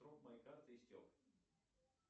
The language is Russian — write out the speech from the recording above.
срок моей карты истек